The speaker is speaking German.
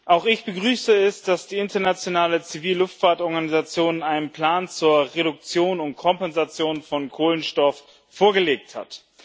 Auch ich begrüße es, dass die Internationale Zivilluftfahrt Organisation einen Plan zur Reduktion und Kompensation von Kohlenstoff vorgelegt hat.